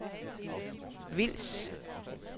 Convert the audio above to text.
Vils